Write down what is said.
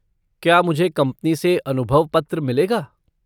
क्या मुझे कंपनी से अनुभव पत्र मिलेगा?